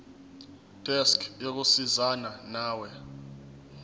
desk yokusizana nawe